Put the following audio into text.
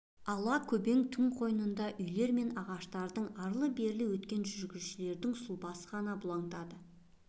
ала-көбең түн қойнында үйлер мен ағаштардың арлы-берлі өткен жүргіншілердің сұлбасы ғана бұлаңытады